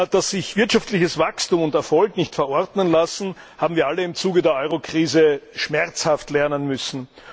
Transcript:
Dass sich wirtschaftliches Wachstum und Erfolg nicht verordnen lassen, haben wir alle im Zuge der Eurokrise schmerzhaft lernen müssen.